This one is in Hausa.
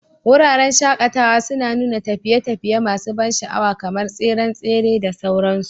Wuraren shaƙatawa suna nuna tafiye-tafiye masu ban sha'awa kamar tseren tsere da sauransu.